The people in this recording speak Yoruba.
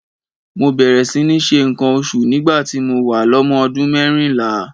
Mo bẹ̀rẹ̀ sí ní ṣe nǹkan oṣù nígbà tí mo wà lọ́mọ ọdún mérìnlá.